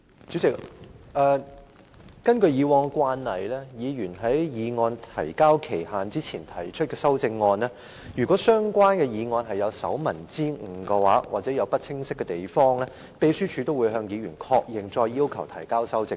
主席，根據慣例，議員在議案提交限期前提出的修正案如有手民之誤或含糊之處，秘書處會向議員確認並要求提交修正本。